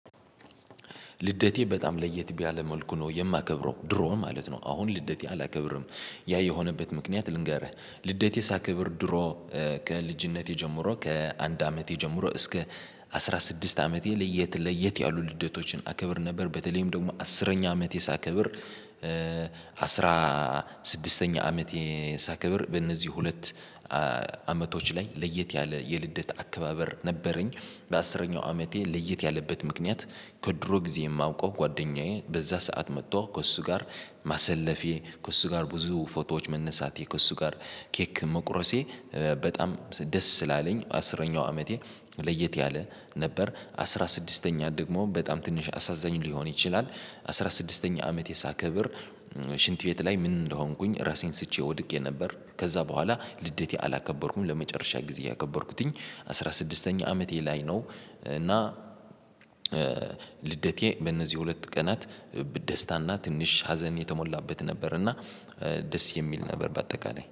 ልደቴ በጣም ለየት ቢያለ መልኩ ነው የማከብረው። ድሮ ማለት ነው፤ አሁን ልደቴ አላከብርም። ያ የሆነበት ምክንያት ልንገርህ፤ ልደቴ ሳክብር ድሮ ከልጅነቴ ጀምሮ ከአንድ አመቴ ጀምሮ እስከ አስራ ስድስት አመቴ ለየት ለየት ያሉ ልደቶችን አከብር ነበር። በተለይም ደግሞ አስረኛ አመቴ ሳከብር አስራ ስድስተኛ አመቴ ሳከብር፤ በእነዚህ ሁለት አመቶች ላይ ለየት ያለ የልደት አከባበር ነበረኝ። በአስረኛው አመቴ ለየት ያለበት ምክንያት፤ ከድሮ ጊዜ የማውቀው ጓደኛዬ በዛ ሰዓት መጥቶ ከእሱ ጋር ማሰለፌ፣ ከእሱ ጋር ብዙ ፎቶዎች መነሳቴ፣ ከእሱ ጋር ኬክ መቁረሴ፣ በጣም ደስ ስላለኝ፤ አስረኛው አመቴ ለየት ያለ ነበር። አስራ ስድስተኛ ደግሞ በጣም ትንሽ አሳዛኝ ሊሆን ይችላል። አስራ ስድስተኛ አመት ሳከብር ሽንት ቤት ላይ ምን እንደሆንኩኝ ራሴን ስቼ ወድቄ ነበር። ከዛ በኋላ ልደቴ አላከበርኩም። ለመጨረሻ ጊዜ ያከበርኩትኝ አስራ ስድስተኛ አመቴ ላይ ነው እና ልደቴ በእነዚህ ሁለት ቀናት ደስታና ትንሽ ሀዘን የተሞላበት ነበር፤ እና ደስ የሚል ነበር በአጠቃላይ።